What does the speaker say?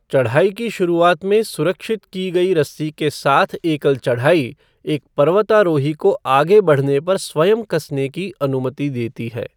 चढ़ाई की शुरुआत में सुरक्षित की गई रस्सी के साथ एकल चढ़ाई एक पर्वतारोही को आगे बढ़ने पर स्वयं कसने की अनुमति देती है।